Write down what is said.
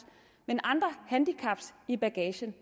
men andre handicaps i bagagen